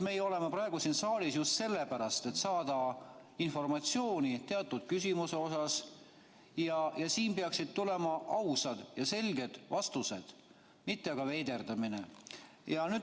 Me oleme siin saalis just sellepärast, et saada informatsiooni teatud küsimuste kohta, ja siin peaksid tulema ausad ja selged vastused, mitte veiderdamine.